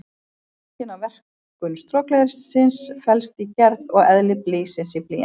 Skýringin á verkun strokleðursins felst í gerð og eðli blýsins í blýantinum.